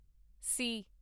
ਸੀ